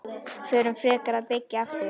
Förum frekar að byggja aftur.